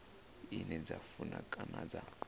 ine dza funa kana dza